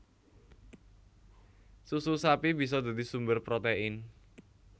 Susu sapi bisa dadi sumber protein